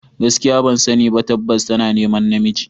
Gaskiya ban sani ba, tabbas tana neman namiji.